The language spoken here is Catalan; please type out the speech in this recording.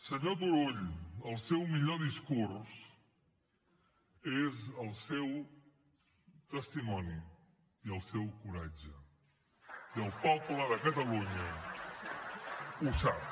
senyor turull el seu millor discurs és el seu testimoni i el seu coratge i el poble de catalunya ho sap